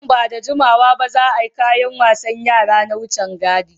Nan ba da jimawa ba, za a yi kayan wasan yara na wucin gadi.